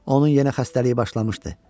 Onun yenə xəstəliyi başlamışdı.